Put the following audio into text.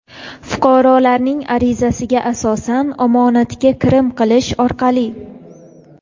fuqarolarning arizasiga asosan omonatga kirim qilish orqali;.